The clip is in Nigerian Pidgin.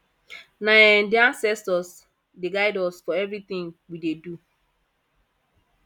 na um di anscestors dey guide us for everytin we dey do